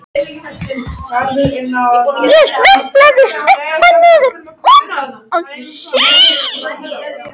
Ég sveiflast upp og niður, út og suður.